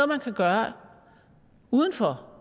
man kan gøre uden for